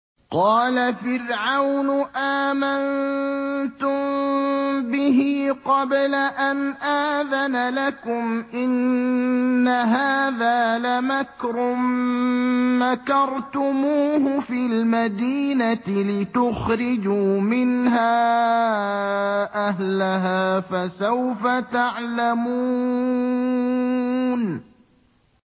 قَالَ فِرْعَوْنُ آمَنتُم بِهِ قَبْلَ أَنْ آذَنَ لَكُمْ ۖ إِنَّ هَٰذَا لَمَكْرٌ مَّكَرْتُمُوهُ فِي الْمَدِينَةِ لِتُخْرِجُوا مِنْهَا أَهْلَهَا ۖ فَسَوْفَ تَعْلَمُونَ